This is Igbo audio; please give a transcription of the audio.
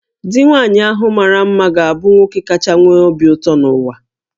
Di nwaanyị ahụ mara mma ga-abụ nwoke kacha nwee obi ụtọ n'ụwa